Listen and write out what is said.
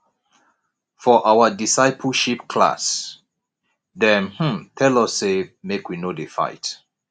for our discipleship class dem um tell us sey make we no dey fight